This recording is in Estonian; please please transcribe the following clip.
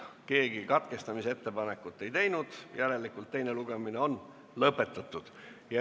Keegi katkestamisettepanekut ka ei teinud, järelikult on eelnõu teine lugemine lõpetatud.